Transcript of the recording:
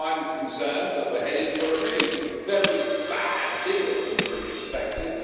I'm concerned that we're headed for a really very bad deal from a British perspective.